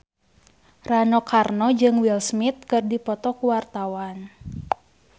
Rano Karno jeung Will Smith keur dipoto ku wartawan